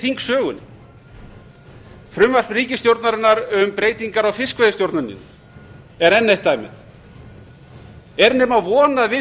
í þingsögunni frumvarp ríkisstjórnarinnar um breytingar á fiskveiðistjórninni er enn eitt dæmið er nema von að við